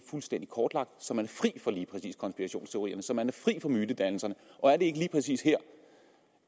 fuldstændig kortlagt så man er fri for lige præcis konspirationsteorierne så man er fri for mytedannelser og er det ikke lige præcis her